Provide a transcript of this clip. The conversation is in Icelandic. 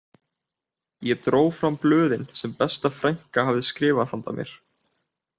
Ég dró fram blöðin sem besta frænka hafði skrifað handa mér